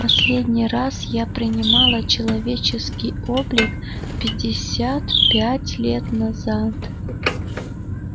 последний раз я принимала человеческий облик пятьдесят пять лет назад